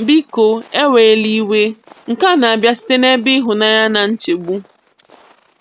Biko ewela iwe nke a na-abịa site n'ebe ịhụnanya na nchegbu.